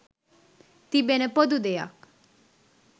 තිබෙන පොදු දෙයක්.